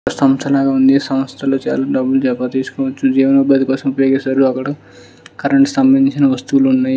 సంస్థ ఉంది. సంస్థలో బాగా డబ్బులు జమ చెయ్యొచ్చు. జీవనోపాధి కోసం పే చేసారు. అక్కడ కరెంటు స్తంబంధించిన వస్తువులు ఉన్నాయి.